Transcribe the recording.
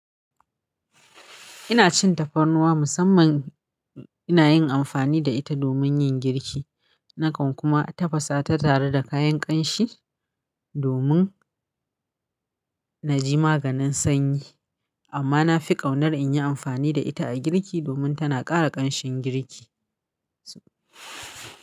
Ina cin tafarnuwa musamman ina yin amfani da ita domin yin girki. Nakan kuma tafasa ta tare da kayan ƙanshi domin na ji maganin sanyi. Amma na fi ƙaunar in yi amfani da ita a girki domin tana ƙara ƙanshin girki.